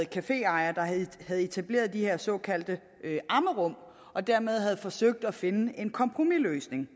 caféejere der havde etableret de her såkaldte ammerum og dermed havde forsøgt at finde en kompromisløsning